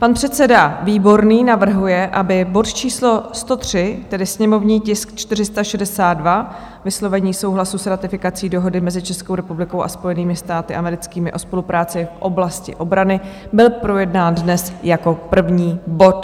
Pan předseda Výborný navrhuje, aby bod číslo 103, tedy sněmovní tisk 462, vyslovení souhlasu s ratifikací Dohody mezi Českou republikou a Spojenými státy americkými o spolupráci v oblasti obrany, byl projednán dnes jako první bod.